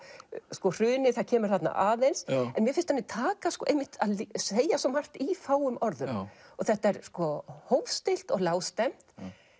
sko hrunið kemur þarna aðeins en mér finnst henni takast að segja svo margt í fáum orðum þetta er hófstillt og lágstemmt